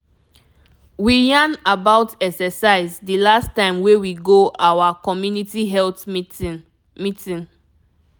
we yarn about exercise the last time wey we go our communiity health meeting. meeting.